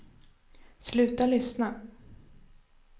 sluta lyssna